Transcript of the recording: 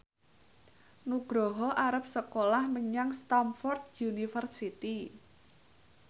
Nugroho arep sekolah menyang Stamford University